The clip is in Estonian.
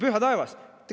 Püha taevas!